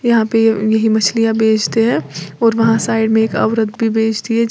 यहां पे ये मछलियां बेचते हैं और वहाँ साइड में औरत भी बेचती है।